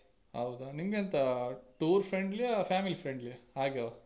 ಹೌದಾ ನಿಮ್ಗೆಂತ tour friendly ಆ family friendly ಆ ಹಾಗೆವ?